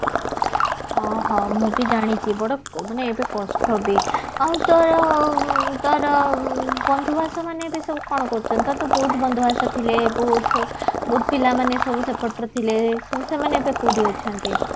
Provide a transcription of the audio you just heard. ହଁ ହଁ ମୁଁ ବି ଜାଣିଛି ବଡ ମାନେ ଏବେ କଷ୍ଟ ବି ଆଉ ତ ତାର ବନ୍ଧୁବାସ ମାନେ ଏବେ କଣ କରୁଛନ୍ତି ତୋର ତ ବହୁତ ବନ୍ଧୁବାସ ଥିଲେ ବହୁତ ପିଲାମାନେ ସବୁ ସେପଟ ର ଥିଲେ ସେ ସେମାନେ ଏବେ କୋଉଠି ଅଛନ୍ତି